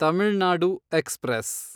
Tamil Nadu express